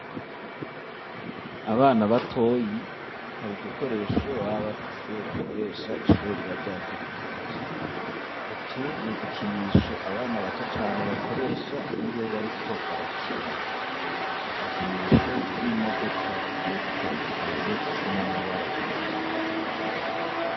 Abana batoyi hari udukoresho baba fise bakoresha ishure riba ryategekanije utu nudukinisho abana bato cane bakoresha iyo bariko barakina nudukinisho tw'imodoka zigiye zitandukanye zifise n'amabara atandukanye.